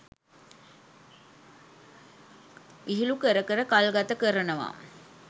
විහිළු කර කර කල්ගත කරනවා.